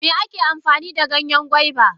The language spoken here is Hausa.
Me ake amfanida Ganyen gwaiba?